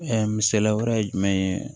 Ɛɛ misaliya wɛrɛ ye jumɛn ye